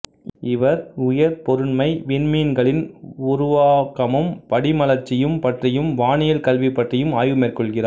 இவர் உயர்பொருண்மை விண்மீன்களினுருவாக்கமும் படிமலர்ச்சியும் பற்றியும் வானியல் கல்வி பற்றியும் ஆய்வு மேற்கொள்கிறார்